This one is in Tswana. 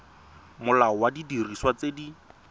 molao wa didiriswa tse di